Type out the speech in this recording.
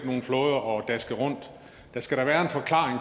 nogle flåder og daske rundt der skal da være en forklaring